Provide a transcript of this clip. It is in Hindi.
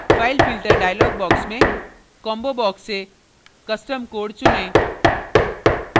filefilter dialog box में combobox से custom code चुनें